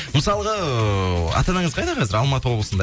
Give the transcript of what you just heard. мысалға ыыы ата анаңыз қайда қазір алматы облысында